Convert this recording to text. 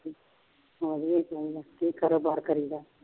ਕੀ ਕਾਰੋਬਾਰ ਕਰੀ ਦਾ